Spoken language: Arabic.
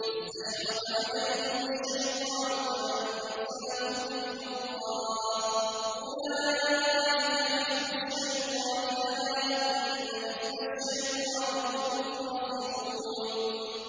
اسْتَحْوَذَ عَلَيْهِمُ الشَّيْطَانُ فَأَنسَاهُمْ ذِكْرَ اللَّهِ ۚ أُولَٰئِكَ حِزْبُ الشَّيْطَانِ ۚ أَلَا إِنَّ حِزْبَ الشَّيْطَانِ هُمُ الْخَاسِرُونَ